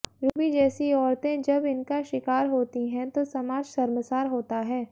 Ruby जैसी औरतें जब इनका शिकार होती हैं तो समाज शर्मसार होता है